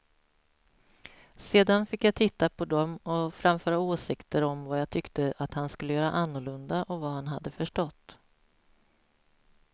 Sedan fick jag titta på dem och framföra åsikter om vad jag tyckte att han skulle göra annorlunda och vad han hade förstått.